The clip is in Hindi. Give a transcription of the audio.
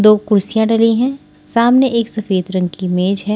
दो कुर्सियां डली हैं सामने एक सफेद रंग की मेज है।